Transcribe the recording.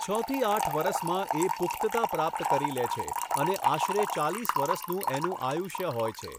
છ થી આઠ વરસમાં એ પુખ્તતા પ્રાપ્ત કરી લે છે અને આશરે ચાલીસ વરસનું એનું આયુષ્ય હોય છે.